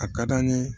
A ka d'an ye